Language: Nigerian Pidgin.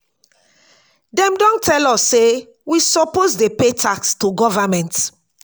dem don tell us say we suppose dey pay tax to government.